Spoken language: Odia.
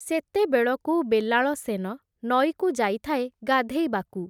ସେତେବେଳକୁ ବେଲାଳସେନ, ନଈକୁ ଯାଇଥାଏ ଗାଧେଇବାକୁ ।